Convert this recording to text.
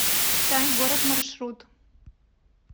читай город маршрут